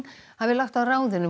hafi lagt á ráðin um